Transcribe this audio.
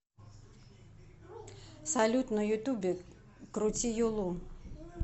салют на ютубе крути юлу